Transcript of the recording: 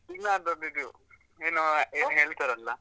ತುಳುನಾಡದ್ದು ಇದು ಏನೂ ಏನ್ ಹೇಳ್ತಾರಲ್ಲ?